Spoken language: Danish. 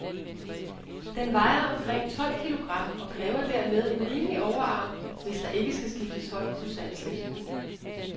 Den vejer omkring tolv kilogram, og kræver dermed en rimelig overarm, hvis der ikke skal skifte hånd ustandseligt.